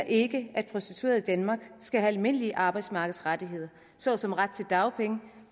ikke at prostituerede i danmark skal have almindelige arbejdsmarkedsrettigheder såsom ret til dagpenge